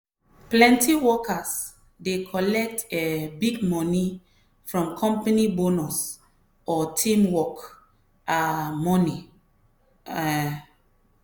plenty workers dey collect um big moni from company bonus or team work um money. um